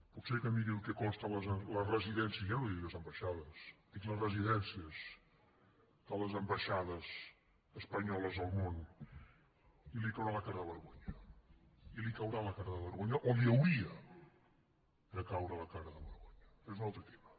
potser que miri el que costen les residències ja no li dic les ambaixades dic les residències de les ambaixades espanyoles al món i li caurà la cara de vergonya i li caurà la cara de vergonya o li hauria de caure la cara de vergonya és un altre tema